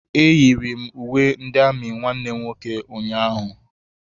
Eyiri m uwe ndị amị nwanne m nwoke ụnyaahụ.